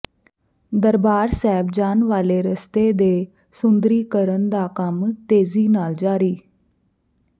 ਦਰਬਾਰ ਸਾਹਿਬ ਜਾਣ ਵਾਲੇ ਰਸਤੇ ਦੇ ਸੁੰਦਰੀਕਰਨ ਦਾ ਕੰਮ ਤੇਜ਼ੀ ਨਾਲ ਜਾਰੀ